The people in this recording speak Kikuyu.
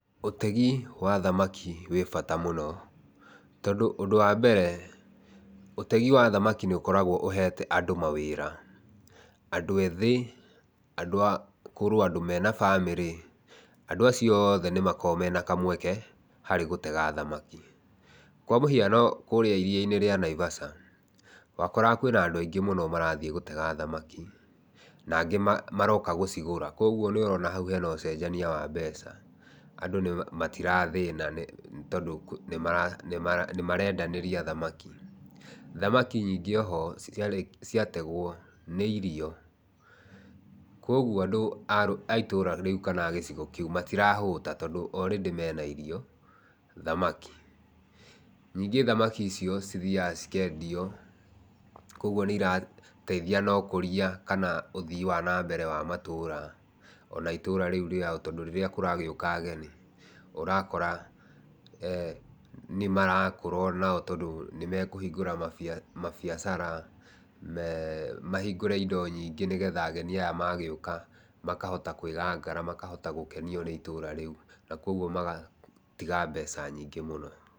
Ũtegi wa thamaki wĩ bata mũno tondũ ũndũ wa mbere, ũtegi wa thamaki nĩũkoragwo ũhete andũ mawĩra. Andũ ethĩ andũ akũrũ andũ mena bamĩrĩ. andũ acio othe nĩmakoragwo mena kamweke harĩ gũtega thamaki. Kwamũhiano kũrĩa iria-inĩ rĩa Naivasha, wakoraga kwĩna andũ aingĩ mũno marathiĩ gũtega thamaki, nangĩ maroka gũcigũra. Kwogwo hau nĩũrona hena ũcenjania wa mbeca, andũ matirathĩna tondũ nĩmarendanĩria thamaki. Thamaki nyingĩ oho ciategwo nĩirio. Kuogwo andũ aitũũra kana gĩcigo kĩu matirahũta tondũ already mena irio, thamaki. Nyingĩ thamaki icio ithiaga cikendio . Kuogwo nĩcirateithia harĩ ũkũria kana ũthii wa nambere wa matũũra ona itũũra rĩu rĩao tondũ rĩrĩa kũragĩũka ageni ũrakora nĩmarakũra onao tondũ nĩmakingũra mabiaca, mahingũre indo nyingĩ nĩgetha ageni aya magĩũka makahota kwĩgangara makahota gũkenio nĩitũũra rĩu nakuogwo magatiga mbeca nyingĩ mũno.